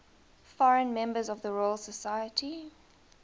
foreign members of the royal society